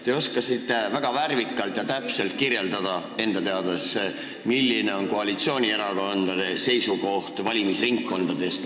Te oskasite enda teada väga värvikalt ja täpselt kirjeldada, milline on koalitsioonierakondade seisukoht valimisringkondade kohta.